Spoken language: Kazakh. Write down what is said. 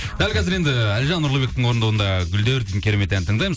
дәл қазір енді әлжан нұрлыбектің орындауында гүлдер деген керемет әнді тыңдаймыз